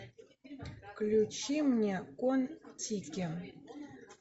включи мне кон тики